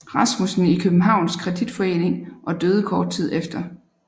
Rasmussen i Københavns Kreditforening og døde kort tid efter